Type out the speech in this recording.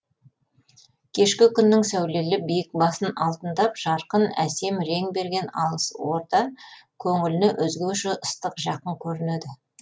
кешкі күннің сәулелі биік басын алтындап жарқын әсем рең берген алыс орда көңіліне өзгеше ыстық жақын көрінеді